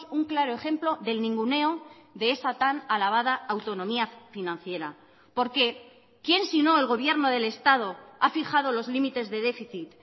un claro ejemplo del ninguneo de esa tan alabada autonomía financiera porque quién sino el gobierno del estado ha fijado los límites de déficit